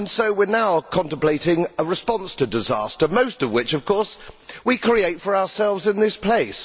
We are now contemplating a response to disasters, most of which of course we create for ourselves in this place.